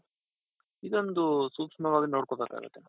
ಇದೊಂದು ಸೂಕ್ಷ್ಮವಾಗಿ ನೋಡ್ಕೋ ಬೇಕಾಗುತ್ತೆ.